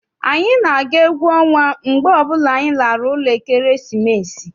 Anyị na-aga egwu ọnwa mgbe ọbụla anyị lara ụlọ ekeresimesi.